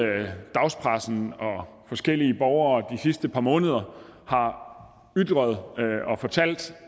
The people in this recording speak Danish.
dagspressen og forskellige borgere de sidste par måneder har ytret og fortalt